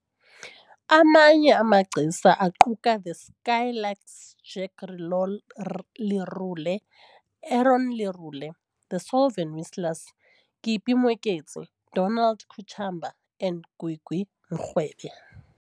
Amanye amagcisa aquka The Skylarks, Jack Lerole Lerole, Aaron Lerole, The Solven Whistlers, Kippie Moeketsi, Donald Kachamba and Gwigwi Mrwebe.